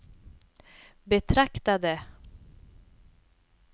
betraktade